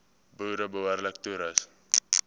boere behoorlik toerus